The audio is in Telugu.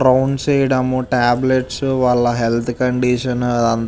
రౌండ్స్ వేయడం టాబ్లెట్స్ వాల హెల్త్ కండిషన్ ఆది అంతా --